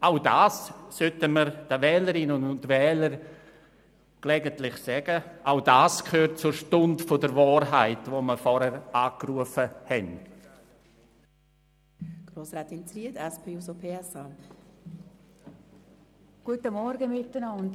Auch das sollten wir den Wählerinnen und Wählern gelegentlich sagen, auch das gehört zur Stunde der Wahrheit, von der vorhin die Rede war.